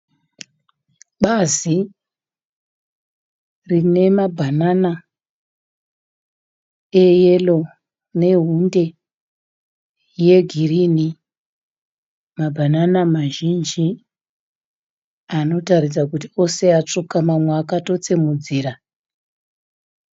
Bazi rine mabhanana eyero nehunde yegirinhi. Mabhanana mazhinji anotaridza kuti ose akatsvuka mamwe akatotsemudzira.